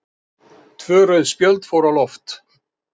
Tvö rauð spjöld fóru á loft.